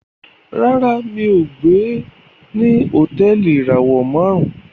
Ràrá mi'o gbé ní Hotẹẹli ìràwọ márùn